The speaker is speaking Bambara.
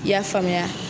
I y'a faamuya